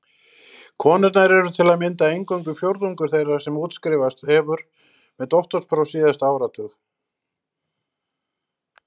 Konur eru til að mynda eingöngu fjórðungur þeirra sem útskrifast hefur með doktorspróf síðasta áratug.